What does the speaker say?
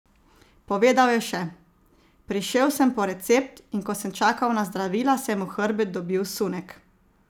Povedal je še: "Prišel sem po recept, in ko sem čakal na zdravila, sem v hrbet dobil sunek.